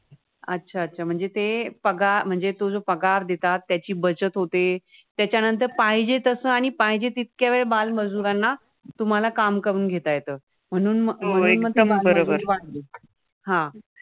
अच्छा अच्छा म्हणजे ते पगार अं म्हणजे जो पगार देतात त्याची बचत होते त्यानंतर पाहिजे तसं पाहिजे तिथे तितकं बालमजुरांना तुम्हाला काम करून घेता येतं. म्हणून मग